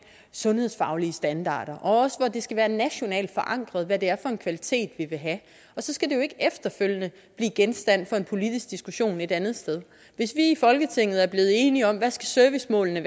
sundhedsfaglige standarder og også at det skal være nationalt forankret hvad det er for en kvalitet vi vil have og så skal det jo ikke efterfølgende blive genstand for en politisk diskussion et andet sted hvis vi i folketinget er blevet enige om hvad servicemålene